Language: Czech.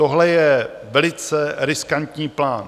Tohle je velice riskantní plán.